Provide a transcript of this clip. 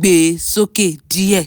gbé e sókè díẹ̀